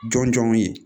Jɔn jɔnw ye